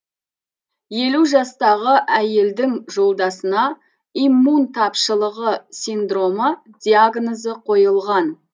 елу жастағы әйелдің жолдасына иммун тапшылығы синдромы диагнозы қойылған